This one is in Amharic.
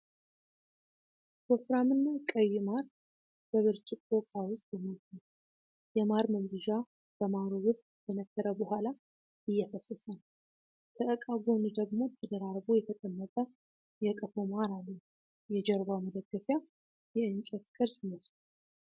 ወፍራምና ቀይ ማር በብርጭቆ ዕቃ ውስጥ ተሞልቷል። የማር መምዘዣ በማሩ ውስጥ ከተነከረ በኋላ እየፈሰሰ ነው። ከዕቃው ጎን ደግሞ ተደራርቦ የተቀመጠ የቀፎ ማር አለ። የጀርባው መደገፊያ የእንጨት ቅርጽ ይመስላል።